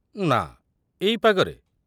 ନା, ଏଇ ପାଗରେ?